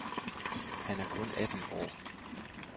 Han er kun atten år.